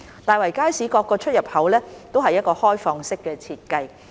大圍街市各出入口為開放式設計。